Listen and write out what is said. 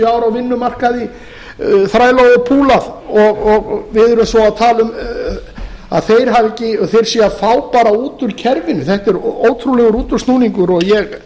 á vinnumarkaði þrælað og púlað og við erum svo að tala um að þeir séu að fá út úr kerfinu þetta er ótrúlegur útúrsnúningur og ég